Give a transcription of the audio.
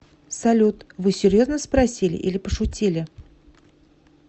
салют вы серьезно спросили или пошутили